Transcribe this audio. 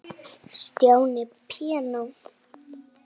Stjáni píanó